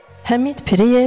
Həmid Piriyev.